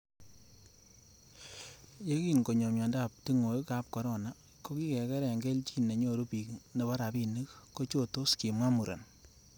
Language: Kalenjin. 'Yekin konyo miondob tingoek ab corona, ko kigere kelchin nenyoru bik nebo rabinik kochotos,''kimwa muren